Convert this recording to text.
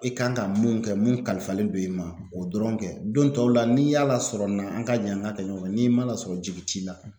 I kan ka mun kɛ mun kalifalen don i ma o dɔrɔn kɛ don tɔw la n'i y'a lasɔrɔ na an ka jɛ an k'a kɛ ɲɔgɔn fɛ n'i ma lasɔrɔ jigin t'i la